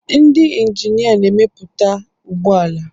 Ndị injinia na-emepụta ụgbọ ala